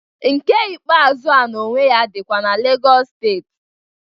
Nke ikpeazụ a na onwe ya dịkwa na Legọs steeti.